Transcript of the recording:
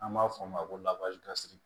An b'a f'o ma ko lawaji kasi